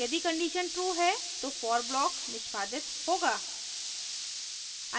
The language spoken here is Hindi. यदि condition true है तो for block निष्पादित होगा